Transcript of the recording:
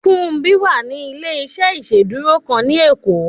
Fúnmbí wà ní ilé-iṣẹ́ ìsedúró kan ni ekó